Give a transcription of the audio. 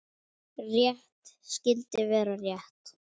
Rétt skyldi vera rétt.